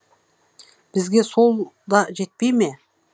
бізге сол да жетпей ме